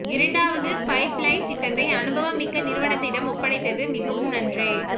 இரண்டாவது pipeline திட்டத்தை அனுபவம் மிக்க நிறுவனத்திடம் ஒப்படைப்பது மிஹவும் நன்று